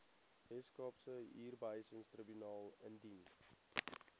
weskaapse huurbehuisingstribunaal indien